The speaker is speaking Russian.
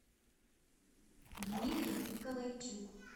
дмитрий николайчук